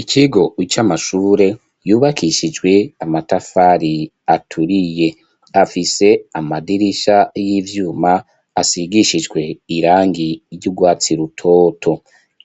Ikigo ic'amashure yubakishijwe amatafari aturiye afise amadirisha y'ivyuma asigishijwe irangi ry'ubwatsi rutoto